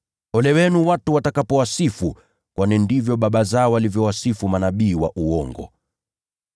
Ole wenu watu watakapowasifu, kwani ndivyo baba zao walivyowasifu manabii wa uongo.